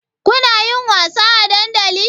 Kunayin wasa a dandali?